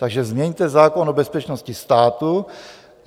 Takže změňte zákon o bezpečnosti státu.